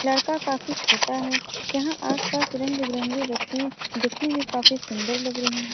लड़का काफी छोटा है यहाँ आस-पास रंग-बिरंगा वस्तुए दिखने में काफी सुंदर लग रही है।